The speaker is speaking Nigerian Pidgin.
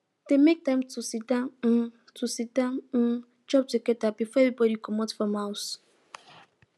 dem make time to siddon um to siddon um chop together before everybody comot from house